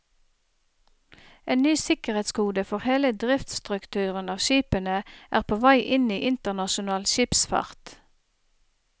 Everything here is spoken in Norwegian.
En ny sikkerhetskode for hele driftsstrukturen av skipene er på vei inn i internasjonal skipsfart.